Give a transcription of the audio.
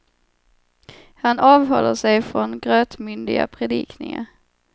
Han avhåller sig från grötmyndiga predikningar.